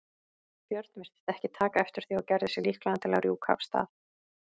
björn virtist ekki taka eftir því og gerði sig líklegan til að rjúka af stað.